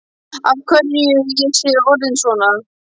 Af hverju ég sé orðin svona.